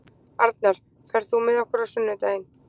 Arnar, ferð þú með okkur á sunnudaginn?